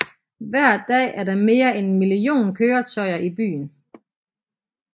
Hver dag er der mere end en million køretøjer i byen